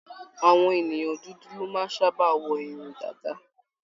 Àwọn ènìyàn dúdú ló máa ń sábà wọ irun dàda.